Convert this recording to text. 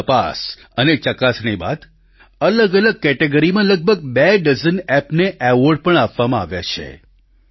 ઘણી તપાસ અને ચકાસણી બાદ અલગઅલગ કેટેગરીમાં લગભગ બે ડઝન એપ ને અવોર્ડ પણ આપવામાં આવ્યા છે